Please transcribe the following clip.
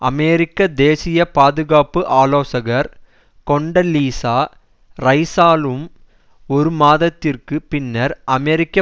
அமெரிக்க தேசிய பாதுகாப்பு ஆலோசகர் கொண்டலீசா ரைசாலும் ஒருமாதத்திற்கு பின்னர் அமெரிக்க